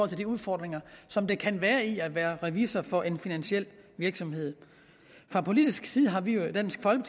til de udfordringer som der kan være i at være revisor for en finansiel virksomhed fra politisk side har vi